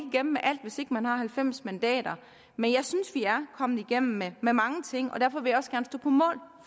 igennem med alt hvis ikke man har halvfems mandater men jeg synes at vi er kommet igennem med med mange ting og derfor vil